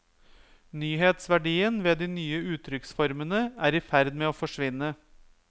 Nyhetsverdien ved de nye uttrykksformene er i ferd med å forsvinne.